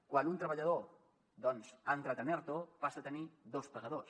quan un treballador doncs ha entrat en erto passa a tenir dos pagadors